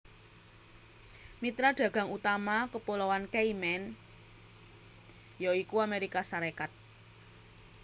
Mitra dagang utama Kepuloan Cayman ya iku Amérika Sarékat